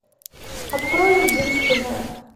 открой единственная